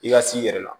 I ka s'i yɛrɛ la